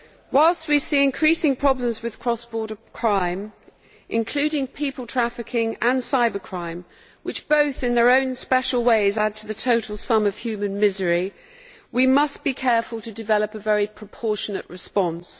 Whilst we see increasing problems with cross border crime, including people trafficking and cyber crime, which both in their own special ways add to the total sum of human misery, we must be careful to develop a very proportionate response.